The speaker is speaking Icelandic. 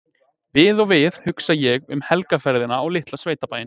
Við og við hugsa ég um helgarferðina á litla sveitabæinn